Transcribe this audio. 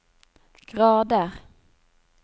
grader